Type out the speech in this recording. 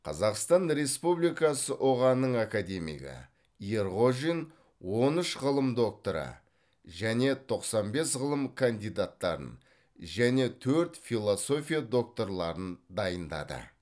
қазақстан республикасы ұға ның академигі ерғожин он үш ғылым докторы мен тоқсан бес ғылым кандидаттарын және төрт философия докторларын дайындады